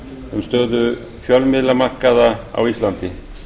um stöðu fjölmiðlamarkaði á íslandi